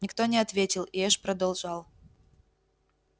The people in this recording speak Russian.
никто не ответил и эш продолжал